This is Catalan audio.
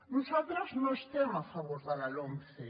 nosaltres no estem a favor de la lomce